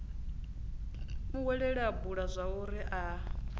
muhweleli a bula zwauri a